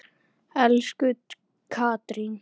Elsku Katrín.